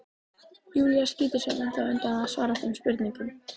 Júlía skýtur sér ennþá undan að svara þeim spurningum.